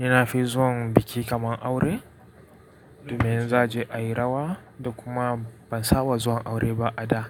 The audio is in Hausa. Ni na fi zuwan biki kaman aure domin zai je a yi rawa da kuma ban saba zuwan aure ba a da.